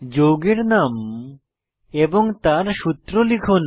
যৌগের নাম এবং তার সূত্র লিখুন